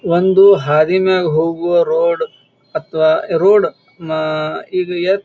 ಒಂದು ಹಾದಿನಾಗ್ ಹೋಗುವ ರೋಡ್ ಅಥವಾ ರೋಡ್ ಅಹ್ ಈಗ ಯೇತ್ --